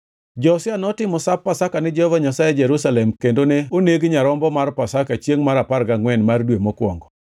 Josia notimo Sap Pasaka ni Jehova Nyasaye e Jerusalem kendo ne oneg nyarombo mar Pasaka chiengʼ mar apar gangʼwen mar dwe mokwongo.